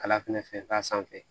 Kala fɛnɛ k'a sanfɛ